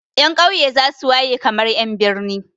Ƴan ƙauye za su waye kamar ƴan birni.